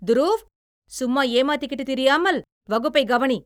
துரூவ், சும்மா எமாத்திக்கிட்டு திரியாமல், வகுப்பைக் கவனி!